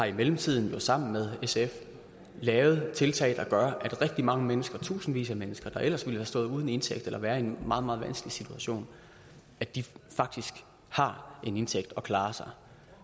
i mellemtiden sammen med sf lavet tiltag der gør at rigtig mange mennesker tusindvis af mennesker der ellers ville have stået uden indtægt eller været i en meget meget vanskelig situation faktisk har en indtægt og klarer sig